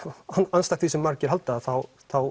andstætt því sem margir halda þá